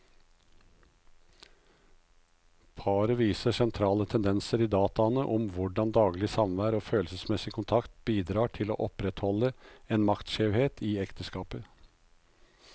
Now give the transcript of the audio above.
Paret viser sentrale tendenser i dataene om hvordan daglig samvær og følelsesmessig kontakt bidrar til å opprettholde en maktskjevhet i ekteskapet.